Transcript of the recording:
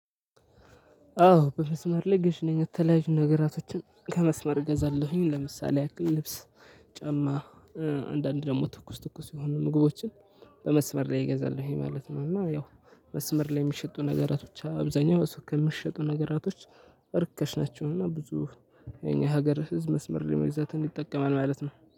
አዎ በመስመር ላይ ገዢነኝ የተለያዩ ነገራቶችን ከመስመር እገዛለሁኝ ለምሳሌ ያክል ልብስ ጫማ አንዳንድ ደግሞ ትኩስ ትኩስ የሆኑ ምግቦችን በመስመር ላይ እገዛለሁኝ ይሄ ማለት ነው። እና ያው መስመር ላይ የሚሸጡ ነገራቶች አብዛኛው እሱቅ ከሚሸጡ ነገራቶች እርካሽ ናቸው። እና ብዙ የኛ ሀገር ህዝብ መስመር ላይ መግዛትን ይጠቀማል ማለት ነው።